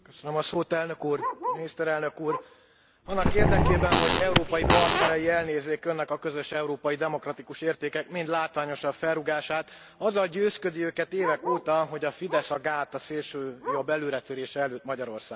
Elnök úr, miniszterelnök úr, annak érdekében, hogy európai partnerei elnézzék Önnek a közös európai demokratikus értékek mind látványosabb felrúgását, azzal győzködi őket évek óta, hogy a Fidesz a gát a szélsőjobb előretörése előtt Magyarországon.